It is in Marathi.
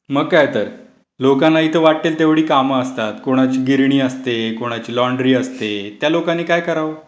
मग काय तर. लोकांना इथे वाटेल तेवढी कामं असतात, कोणाची गिरणी असते, कोणाची लॉन्ड्री असते, त्या लोकांनी काय करावं?